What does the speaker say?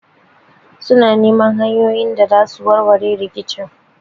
Suna neman hanyoyin da zasu warware rikicin